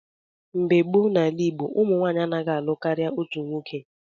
Mgbe gboo n'ala Igbo, ụmụ nwanyị anaghị alụ karịa otu nwoke.